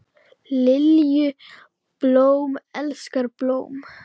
Lilju, blóm elskar blóm.